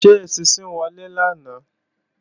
Ṣé eṣinṣin wọlé lánàá?